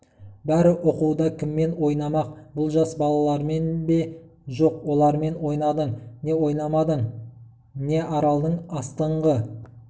бәрі оқуда кіммен ойнамақ бұл жас балалармен бе жоқ олармен ойнадың не ойнамадың не аралдың астыңғы